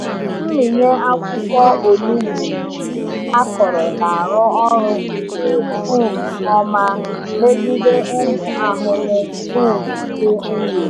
Mmịnye akwụkwọ onugbu akọrọ na-arụ ọrụ nke um ọma megide ụmụ ahụhụ um dị nro.